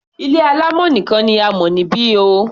Ilé alámọ̀ nìkan ni a mọ̀ níbi o.